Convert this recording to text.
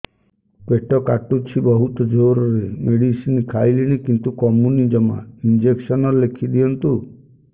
ପେଟ କାଟୁଛି ବହୁତ ଜୋରରେ ମେଡିସିନ ଖାଇଲିଣି କିନ୍ତୁ କମୁନି ଜମା ଇଂଜେକସନ ଲେଖିଦିଅନ୍ତୁ